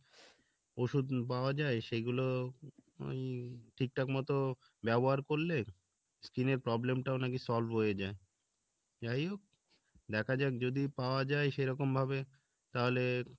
ওষুধ পাওয়া যাই সেগুলো এই ঠিকঠাক মতো ব্যবহার করলে skin এর problem টাও নাকি solve হয়ে যাই যাইহোক দেখা যাক যদি পাওয়া যাই সেরকম ভাবে তাহলে,